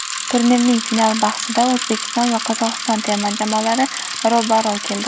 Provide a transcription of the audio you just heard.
Turnirning final bahsida O‘zbekiston va Qozog‘iston terma jamoalari ro‘baro‘ keldi.